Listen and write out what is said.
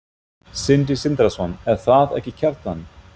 Sindri Sindrason: Er það ekki Kjartan?